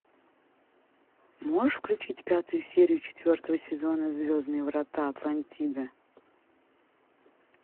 можешь включить пятую серию четвертого сезона звездные врата атлантида